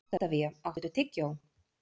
Oktavía, áttu tyggjó?